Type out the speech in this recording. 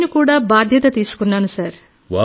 నేను కూడా బాధ్యత తీసుకున్నాను సార్